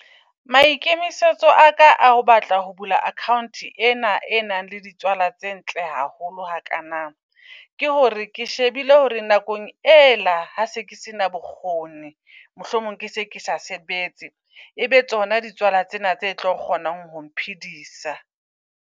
Maikemisetso a ka a o batla ho bula account ena e nang le di tswala tse ntle haholo hakana. Ke hore ke shebile hore nakong ela ha se ke sena bokgoni mohlomong ke se ke sa sebetse, ebe tsona di tswala tsena tse tlo kgonang hong phedisa.